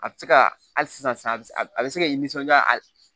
A bɛ se ka hali sisan a bɛ a bɛ se ka i nisɔndiya hali